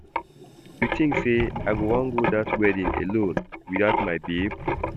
You think say I go wan go that wedding alone without my babe?